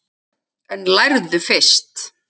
En lærðu fyrst.